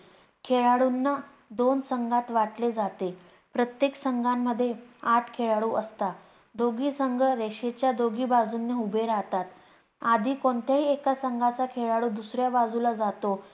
खेळाडूंना दोन संघात वाटले जाते, प्रत्येक संघांमध्ये आठ खेळlडू असतात. दोघी संघ रेषेच्या दोघी बाजूंनी उभे राहतात. आधी कोणत्याही एका संघाचा खेळlडू दुसऱ्या बाजूल जातो.